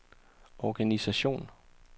organisation